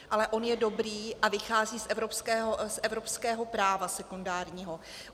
Ale on je dobrý a vychází z evropského práva sekundárního.